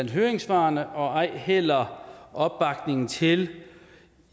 i høringssvarene og ej heller opbakning til